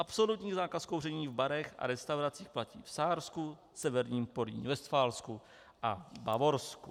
Absolutní zákaz kouření v barech a restauracích platí v Sársku, Severním Porýní-Vestfálsku a Bavorsku.